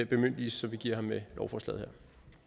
bemyndigelse som vi giver ham med lovforslaget